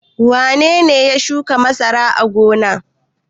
Wane ne ya shuka masara a gona?